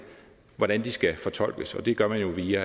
hvordan de skal fortolkes og det gør man jo via